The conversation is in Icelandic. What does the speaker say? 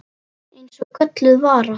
Eins og gölluð vara.